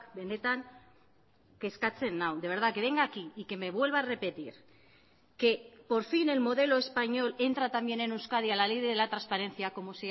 benetan kezkatzen nau de verdad que venga aquí y que me vuelva a repetir que por fin el modelo español entra también en euskadi a la ley de la transparencia como